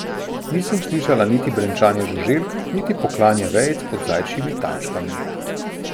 Nisem slišala niti brenčanja žuželk niti pokljanja vejic pod zajčjimi tačkami.